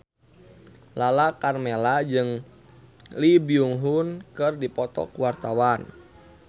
Lala Karmela jeung Lee Byung Hun keur dipoto ku wartawan